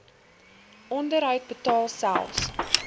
onderhoud betaal selfs